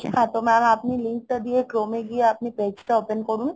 হ্যাঁ mam, আপনি link টা দিয়ে chrome গিয়ে আপনি page টা open করুন